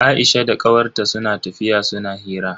Aisha da kawar ta suna tafiya suna hira.